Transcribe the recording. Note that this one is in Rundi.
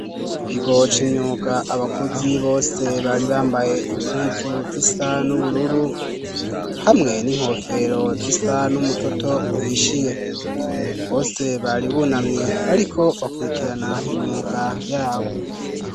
Ku kigo c'imyuga abakozi bose bari bambaye impuzu zisa n'ubururu hamwe n'inkofero zisa n'umutoto uhishiye, bose bari bunamye bariko bakurikirana imyuga yabo.